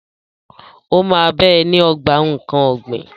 Ó máa bá ẹ ní ogbà nkán ọ̀gbìn.